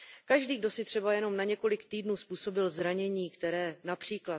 Každý, kdo si třeba jen na několik týdnů způsobil zranění, které např.